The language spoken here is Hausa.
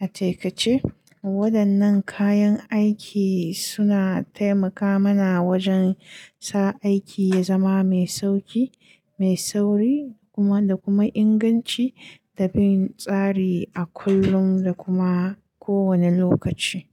A takaice, waɗannan kayan aiki suna taimaka mana wajen sa aiki ya zama mai sauƙi, mai sauri, kuma da kuma inganci da bin tsari a kullum da kuma kowane lokaci.